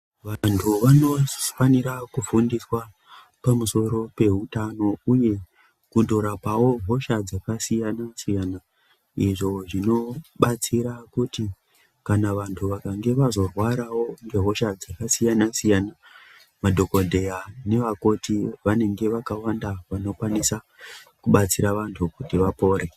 Vantu vanofanira kufundiswa pamusoro pehutano, uye kundorapavo hosha dzakasiyana-siyana. Izvo zvinobatsira kuti kana vantu vakange vazorwaravo ngehosha dzakasiyana-siyana, madhogodheya nevakoti vanenge vakawanda vanokwanisa kubatsira vantu kuti vapore.